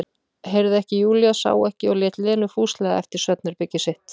Heyrði ekki Júlía, sá ekki, og lét Lenu fúslega eftir svefnherbergi sitt.